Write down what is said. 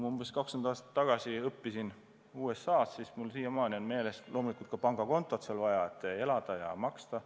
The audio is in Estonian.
Ma umbes 20 aastat tagasi õppisin USA-s ja loomulikult on pangakontot sealgi vaja, et elada ja arveid maksta.